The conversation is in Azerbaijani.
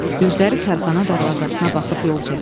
Gözləri karxana darvazasına baxıb yol çəkir.